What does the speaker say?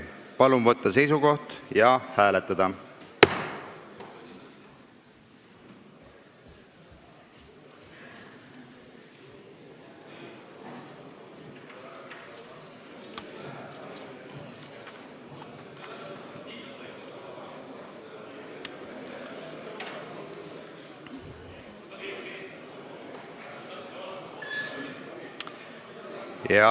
Palun võtta seisukoht ja hääletada!